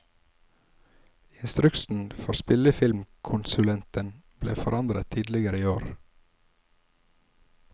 Instruksen for spillefilmkonsulenten ble forandret tidligere i år.